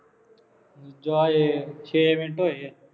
ਜਾ ਉਏ ਛੇ ਮਿੰਟ ਹੋਏ ਆ